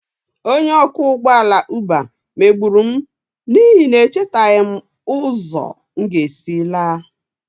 Onye ọkwọ ụgbọ ala Uber megburu m n'ihi na echetaghị m ụzọ m ga-esi laa